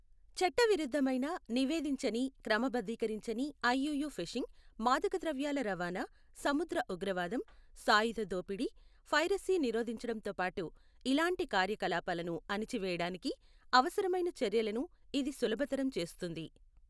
చట్టవిరుద్ధమైన నివేదించని క్రమబద్ధీకరించని ఐయూయూ ఫిషింగ్, మాదక ద్రవ్యాల రవాణా, సముద్ర ఉగ్రవాదం, సాయుధ దోపిడీ, పైరసీ నిరోధించడంతో పాటు ఇలాంటి కార్యకలాపాలను అణచి వేయడానికి అవసరమైన చర్యలను ఇది సులభతరం చేస్తుంది.